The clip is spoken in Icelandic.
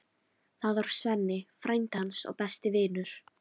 Það var Svenni, frændi hans og besti vinur.